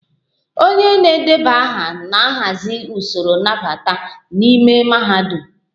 onye na-edeba aha na-ahazi usoro nnabata n'ime mahadum